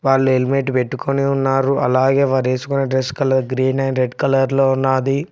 వాళ్ళు హెల్మెంట్ పెట్టుకొని ఉన్నారు అలాగే వారు వేసుకొని dress colour green and red colour లో ఉన్నది.